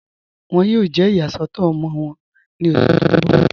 Wọn yóò jẹ́ iyàsọ̀tọ̀ ọmọ wọn ní ọṣù tí n bọ̀.